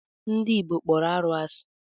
Ndị Igbo kpọrọ arụ asị.